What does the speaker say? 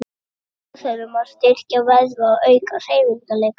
Með sjúkraþjálfun má styrkja vöðva og auka hreyfanleika.